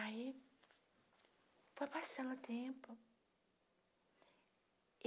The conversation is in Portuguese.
Aí foi passando o tempo.